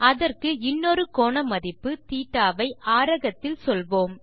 அதற்கு இன்னொரு கோண மதிப்பு θ வை ஆரகத்தில் சொல்வோம்